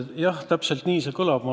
Jah, täpselt nii see kõlab.